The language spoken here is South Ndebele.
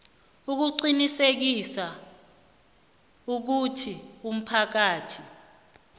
ukuqinisekisa ukuthi umphakathi